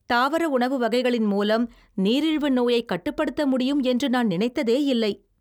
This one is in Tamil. தாவர உணவு வகைகளின் மூலம் நீரிழிவு நோயை கட்டுப்படுத்த முடியும் என்று நான் நினைத்ததேயில்லை.